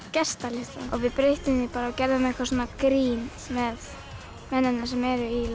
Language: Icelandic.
gestalistann og við breyttum því og gerðum grín með mennina sem eru í